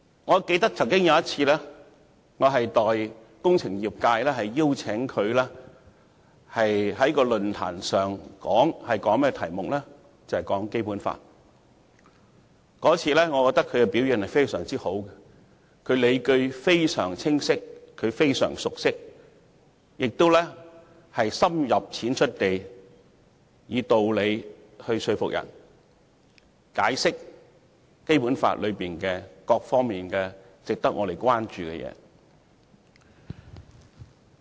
我記得曾有一次，我代表工程業界邀請她在一個論壇上以《基本法》為題發言，我認為她該次的表現非常好，她的理據非常清晰，而且她非常熟悉《基本法》，深入淺出地以道理來說服別人，解釋《基本法》中各方面值得我們關注的事項。